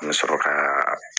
An bɛ sɔrɔ ka